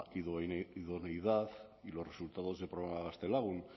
idoneidad y los resultados del programa gaztelagun